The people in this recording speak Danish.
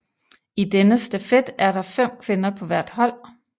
I denne stafet er der fem kvinder på hvert hold